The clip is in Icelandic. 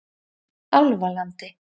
Álfalandi